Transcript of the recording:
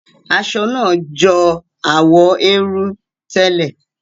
Aṣọ náà jọ àwọ̀ érú tẹ́lẹ̀.